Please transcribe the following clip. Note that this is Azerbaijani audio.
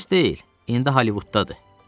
Biz deyil, indi Hollivuddadır.